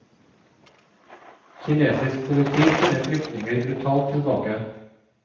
Kinesisk politi sender flyktninger brutalt tilbake.